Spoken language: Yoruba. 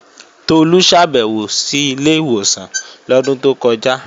Tolú ṣàbèwò sí ilé ìwòsàn lọ́dún tó kọjá